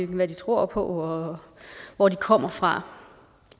hvad de tror på og hvor de kommer fra